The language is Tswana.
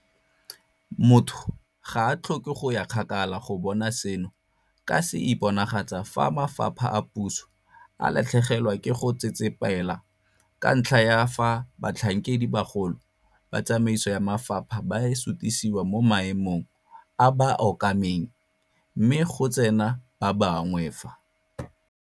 Motho ga a tlhoke go ya kgakala go bona seno ka se iponagatsa fa mafapha a puso a latlhegelwa ke go tsetsepela ka ntlha ya fa batlhankedibagolo ba tsamaiso ya mafapha ba sutisiwa mo maemong a ba a okameng mme go tsena ba bangwe fa.